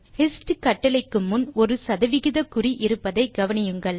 hist கட்டளைக்கு முன் ஒரு சதவிகிதக்குறி இருப்பதை கவனியுங்கள்